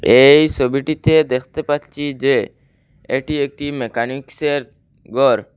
এই সবিটির মধ্যে দেখতে পাচ্ছি যে এটি একটি মেকানিক্সের গর ।